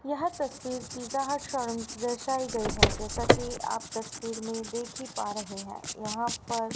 यह तस्वीर की दर्शाई गई है जैसा कि आप तस्वीर में देख ही पा रहे हैं यहां पर--